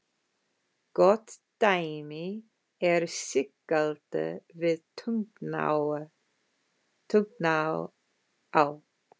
Gott dæmi er Sigalda við Tungnaá.